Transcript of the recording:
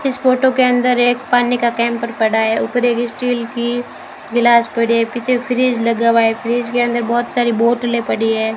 इस फोटो के अंदर एक पानी का कैंपर पड़ा है ऊपर एक स्टील की गिलास पड़ी है पीछे फ्रिज लगा हुआ है फ्रिज के अंदर बहोत सारी बॉटले पड़ी है।